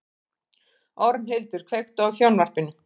Ormhildur, kveiktu á sjónvarpinu.